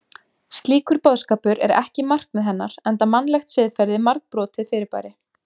Slíkur boðskapur er ekki markmið hennar enda mannlegt siðferði margbrotið fyrirbæri.